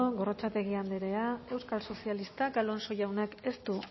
gorrotxategi andrea euskal sozialistak alonso jaunak ez du